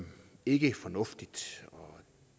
ikke fornuftigt og